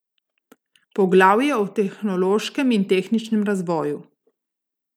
Poglavje o tehnološkem in tehničnem razvoju.